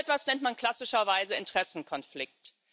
So etwas nennt man klassischerweise Interessenkonflikt.